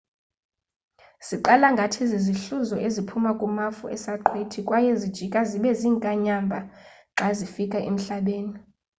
ziqala ngathi zizihluzo eziphuma kumafu esaqhwithi kwaye zijika zibe ziinkanyamba xa zifika emhlabeni